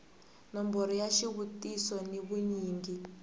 nomboro ya xivutiso ni vunyingi